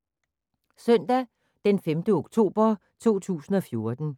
Søndag d. 5. oktober 2014